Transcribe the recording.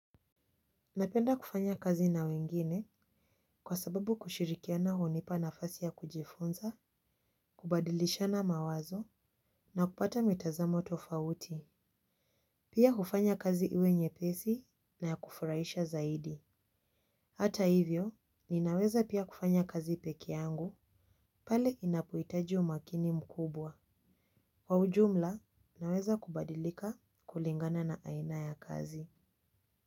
Napenda kufanya kazi na wengine kwa sababu kushirikiana hunipa nafasi ya kujifunza, kubadilishana mawazo na kupata mitazamo tofauti. Pia hufanya kazi iwe nyepesi na ya kufurahisha zaidi. Hata hivyo, ninaweza pia kufanya kazi peke yangu pale inapohitaji umakini mkubwa. Kwa ujumla, ninaweza kubadilika kulingana na aina ya kazi.